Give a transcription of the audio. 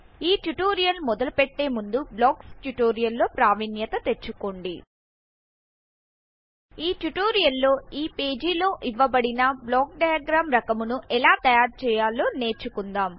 ఈ ట్యుటోరియల్ మొదలు పెట్టే ముందు బ్లాక్స్ ట్యూటోరియల్ లో ప్రావిన్యత తెచ్చుకోండి ఈ ట్యుటోరియల్ లో ఈ పేజీ లో ఇవ్వబడిన బ్లాక్ డైయగ్ర్యామ్ రకమును ఎలా తయారు చేయాలో నేర్చుకుందాం